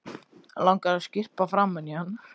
Langar að skyrpa framan í hann.